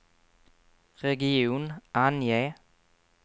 region, ange